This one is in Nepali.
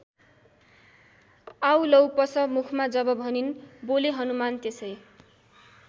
आऊ लौ पस मुखमा जब भनिन् बोले हनुमान त्यसै।